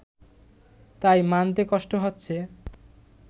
তাই মানতে কষ্ট হচ্ছে